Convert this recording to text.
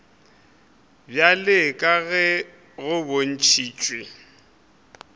bjalo ka ge go bontšhitšwe